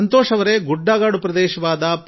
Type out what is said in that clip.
ಸಂತೋಷ್ ಜೀ ಯವರೇ ನಿಮಗೆ ಅಭಿನಂದನೆಗಳು